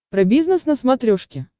про бизнес на смотрешке